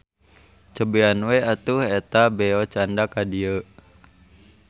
Cobian we atuh eta beo candak ka dieu.